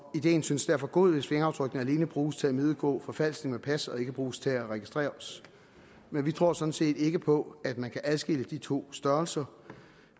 ideen synes derfor god hvis fingeraftrykkene alene bruges til at imødegå forfalskning af pas og ikke bruges til at registrere os men vi tror sådan set ikke på at man kan adskille de to størrelser